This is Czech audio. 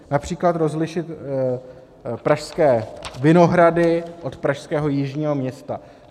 Například rozlišit pražské Vinohrady od pražského Jižního Města.